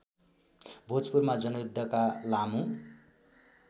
भोजपुरमा जनयुद्धका लामो